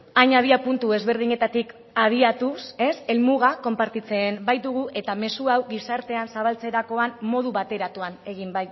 hain abiapuntu ezberdinetatik abiatuz helmuga konpartitzen baitugu eta mezu hau gizartean zabaltzerakoan modu bateratuan